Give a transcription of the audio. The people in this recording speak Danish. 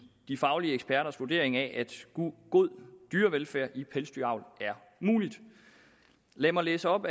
de faglige eksperters vurdering af at god dyrevelfærd i pelsdyravl er mulig lad mig læse op